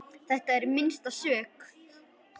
Þetta er minnst sök.